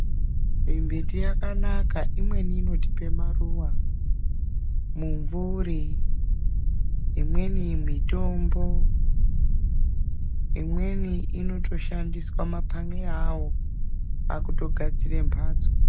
Mimbiti yakanaka, imweni inotipe maruva, mumvuri, imweni mitombo. Imweni inotoshandiswa mapanxeya awo pakutogadzire mbatso.